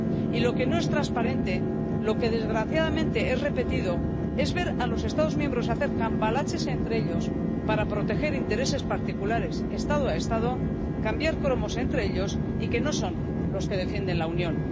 Y lo que no es transparente, lo que desgraciadamente es repetido, es ver a los Estados miembros hacer cambalaches entre ellos para proteger intereses particulares, Estado a Estado, cambiar cromos entre ellos y que no defienden a la Unión.